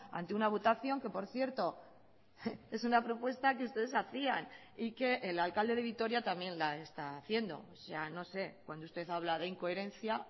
ante una votación que por cierto es una propuesta que ustedes hacían y que el alcalde de vitoria también la está haciendo no sé cuando usted habla de incoherencia